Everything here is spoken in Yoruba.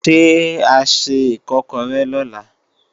Ṣé a se Ìkọ́kọrẹ́ lọ̀la?